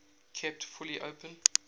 kept fully open